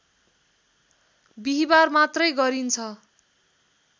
बिहिबार मात्रै गरिन्छ